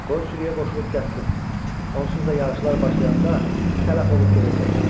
Qoy sürüyə qoşulub gəzsin, onsuz da yağışlar başlayanda tələf olub gedəcək.